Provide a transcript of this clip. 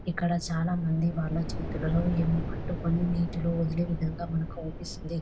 ఇక్కడ చాలామంది వాళ్ల చేతులలో ఏమో పట్టుకొని నీటిలోని వదిలే విధంగా మనకు ఆవుపిస్తుంది.